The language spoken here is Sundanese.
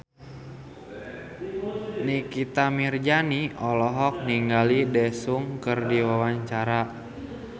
Nikita Mirzani olohok ningali Daesung keur diwawancara